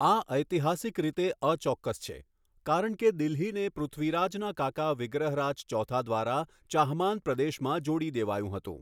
આ ઐતિહાસિક રીતે અચોક્કસ છે કારણ કે દિલ્હીને પૃથ્વીરાજના કાકા વિગ્રહરાજ ચોથા દ્વારા ચાહમાન પ્રદેશમાં જોડી દેવાયું હતું.